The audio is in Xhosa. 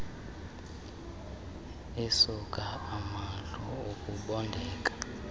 isuka amadlu ukubondeka